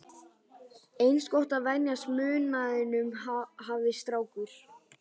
Eins gott að venjast munaðinum, hafði strákur